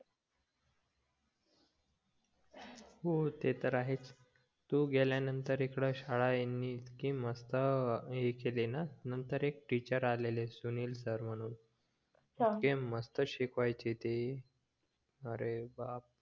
हो ते तर आहेच तू गेल्या नंतर इकडं शाळा ह्यांनी इतकी मस्त अं केली ना नंतर एक टीचर आलेले सुनील सर म्हणून इतके मस्त शिकवायचे ते अरे बाप